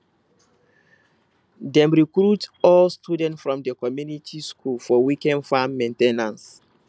dem recruit old students from di community school for weekend farm main ten ance